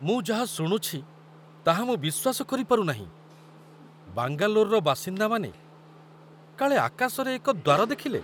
ମୁଁ ଯାହା ଶୁଣୁଛି, ତାହା ମୁଁ ବିଶ୍ୱାସ କରିପାରୁନାହିଁ! ବାଙ୍ଗାଲୋରର ବାସିନ୍ଦାମାନେ କାଳେ ଆକାଶରେ ଏକ ଦ୍ୱାର ଦେଖିଲେ!